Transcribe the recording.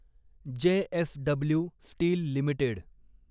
JSW steel limited